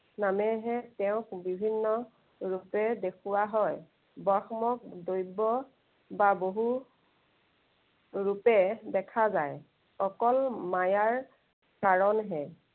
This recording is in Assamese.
নামেহে তেওঁক বিভিন্ন ৰূপে দেখুওৱা হয়। ব্ৰহ্ম দৈৱ বা বহু ৰূপে দেখা যায়। অকল মায়াৰ কাৰনহে